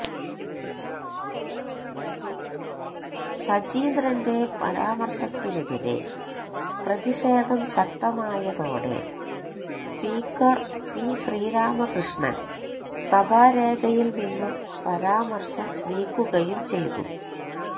സജീന്ദ്രന്റെ പരാമര്ശത്തിനെതിരെ പ്രതിഷേധം ശക്തമായതോടെ സ്പീക്കര് പി ശ്രീരാമകൃഷ്ണന് സഭാരേഖയില് നിന്നും പരാമര്ശം നീക്കുകയും ചെയ്തു